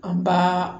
An ba